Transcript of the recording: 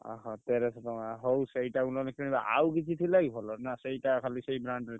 ଅହ! ତେରସ ଟଙ୍କା ହଉ ସେଇଟାକୁ ନହେଲେ କିଣିବା ଆଉ କିଛି ଥିଲା କି ଭଲ ନା ସେଇଟା ଖାଲି ସେଇ brand ।